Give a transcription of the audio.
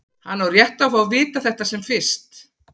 Hann á rétt á að fá að vita þetta sem fyrst.